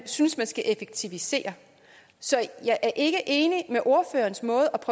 synes der skal effektiviseres så jeg er ikke enig med ordførerens måde